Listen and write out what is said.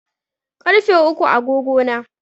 Ƙarfe uku a agogo na.